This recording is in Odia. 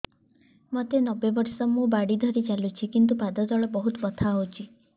ମୋତେ ନବେ ବର୍ଷ ମୁ ବାଡ଼ି ଧରି ଚାଲୁଚି କିନ୍ତୁ ପାଦ ତଳ ବହୁତ ବଥା ହଉଛି